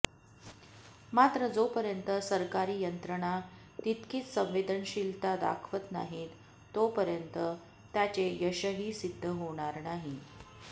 मात्र जोपर्यंत सरकारी यंत्रणा तितकीच संवेदनशीलता दाखवत नाहीत तोपर्यंत त्याचे यशही सिध्द होणार नाही